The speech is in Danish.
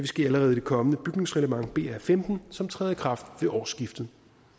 ske allerede i det kommende bygningsreglement br15 som træder i kraft ved årsskiftet